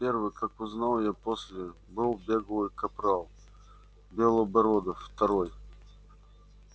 первый как узнал я после был беглый капрал белобородов второй